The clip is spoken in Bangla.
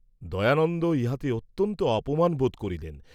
দয়ানন্দ ইহাতে অত্যন্ত অপমান বোধ করিলেন।